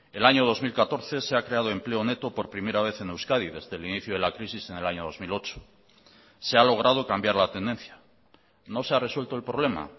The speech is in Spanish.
el año dos mil catorce se ha creado empleo neto por primera vez en euskadi desde el inicio de la crisis en el año dos mil ocho se ha logrado cambiar la tendencia no se ha resuelto el problema